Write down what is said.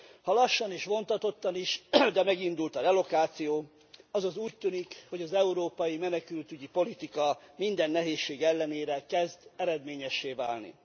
Ha lassan és vontatottan is, de megindult a relokáció, azaz úgy tűnik, hogy az európai menekültügyi politika minden nehézség ellenére kezd eredményessé válni.